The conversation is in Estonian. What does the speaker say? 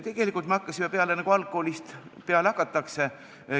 Tegelikult me hakkasime peale, nagu algkoolist peale hakatakse.